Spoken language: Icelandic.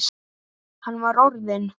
Hann var orðinn.